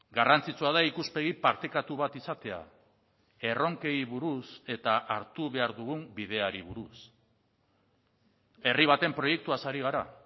garrantzitsua da ikuspegi partekatu bat izatea erronkei buruz eta hartu behar dugun bideari buruz herri baten proiektuaz ari gara